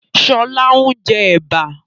Sọlá ń jẹ Ẹ̀bà